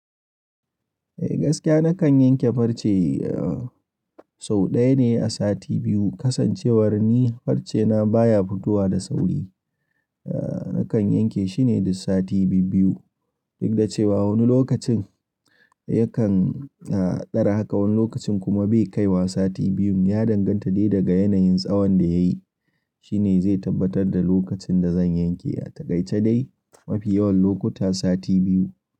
Eh gaskiya nakan yanke farce sau ɗaya ne a sati biyu. Kasancewar ni farcena baya fito wa da sauri, nakan yanke shine duk sati biyu biyu. Duk da cewa wani lokacin yakan ɗara haka wani lokacin kuma bai kai wa sati biyun. Ya danganta dai daga yanayin tsawan da yayi. Shine zai tabbatar da lokacin da zan yanke. A takaice dai mafi yawan lokuta sati biyu.